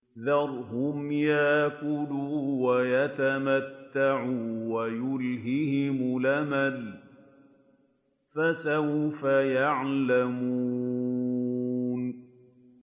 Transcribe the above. ذَرْهُمْ يَأْكُلُوا وَيَتَمَتَّعُوا وَيُلْهِهِمُ الْأَمَلُ ۖ فَسَوْفَ يَعْلَمُونَ